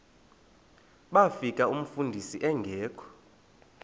bafika umfundisi engekho